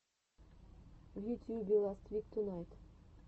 в ютьюбе ласт вик тунайт